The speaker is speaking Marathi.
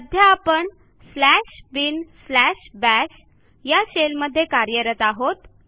सध्या आपण स्लॅश बिन स्लॅश बाश या शेलमध्ये कार्यरत आहोत